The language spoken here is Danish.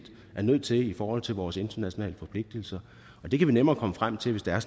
er nødt til i forhold til vores internationale forpligtelser og det kan vi nemmere komme frem til hvis det er